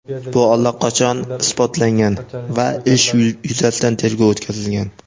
Bu allaqachon isbotlangan va ish yuzasidan tergov o‘tkazilgan.